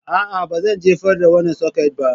A'a, ba zan jefar da wannan soket ba